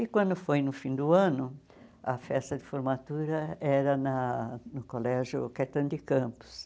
E quando foi no fim do ano, a festa de formatura era na no Colégio Caetano de Campos.